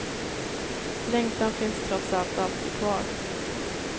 Längtan finns trots allt alltid kvar.